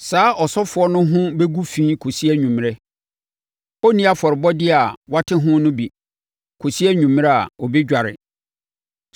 saa ɔsɔfoɔ no ho bɛgu fi kɔsi anwummerɛ. Ɔrenni afɔrebɔdeɛ a wɔate ho no bi kɔsi anwummerɛ a ɔbɛdware.